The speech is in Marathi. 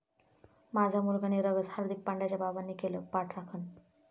माझा मुलगा 'निरागस', हार्दिक पांड्याच्या बाबांनी केली पाठराखण